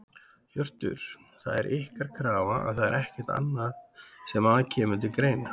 Hjörtur: Það er ykkar krafa og það er ekkert annað sem að kemur til greina?